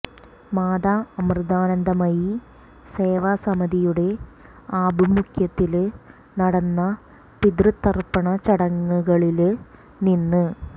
മാതാ അമൃതാനന്ദമയി സേവ സമിതിയുടെ ആഭിമുഖ്യത്തില് നടന്ന പിതൃതര്പ്പണ ചടങ്ങുകളില് നിന്ന്